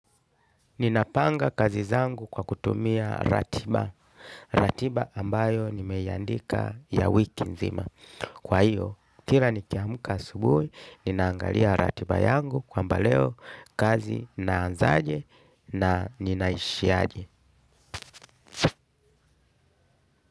Ninapanga kazi zangu kwa kutumia ratiba, ratiba ambayo nimeiandika ya wiki nzima. Kwa hiyo, kila nikiamka asubuhi, ninaangalia ratiba yangu kwamba leo kazi naanzaje na ninaishi aje.